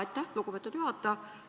Aitäh, lugupeetud juhataja!